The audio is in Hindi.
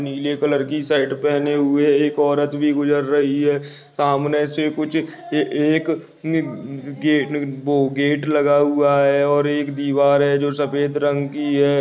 नीले कलर शर्ट पहने हुए एक औरत भी गुजर रही है सामने से कुछ एक गेट गेट लगा हुआ है और एक दीवार है जो सफ़ेद रंग की है।